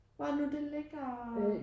Hvor er det nu det ligger?